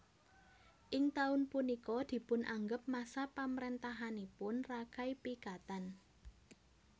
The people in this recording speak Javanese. Ing taun punika dipun anggep masa pamarentahanipun Rakai Pikatan